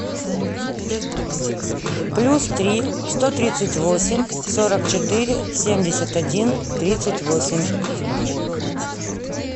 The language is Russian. плюс три сто тридцать восемь сорок четыре семьдесят один тридцать восемь